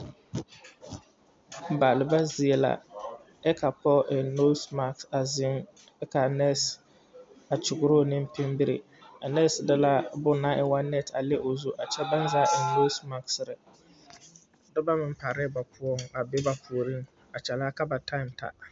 Baaliba zie la kyɛ ka pɔɔ eŋ noosmak a zeŋ kyɛ ka a nɛɛse a kyɔgroo neŋ pinbiri a nɛɛse de la bon naŋ e woo nɛte a le o zu a kyɛ baŋ zaa eŋ noosmaksire dɔbɔ meŋ paalɛɛ ba poɔŋ a be bavpuoriŋ a kyɛlihɛ ka ba taam ta.